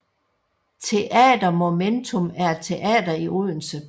Teater Momentum er et teater i Odense